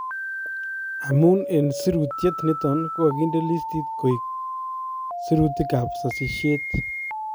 Amunee sirutyet niton kokakinde listiit koek sirutiikab sasisyeet